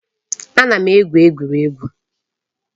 Ana m egwu egwuregwu